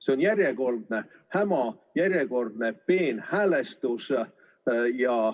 See on järjekordne häma, järjekordne peenhäälestus.